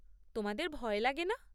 তোমাদের ভয় লাগে না?